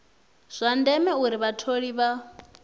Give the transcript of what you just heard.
zwa ndeme uri vhatholi vha